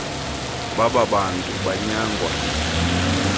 baba bantu banyangwa